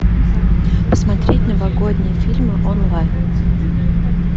посмотреть новогодние фильмы онлайн